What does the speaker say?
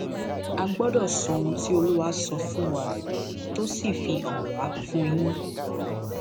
a gbọdọ sọ ohun tí olúwa sọ fún wa tó sì fi hàn wá fún yín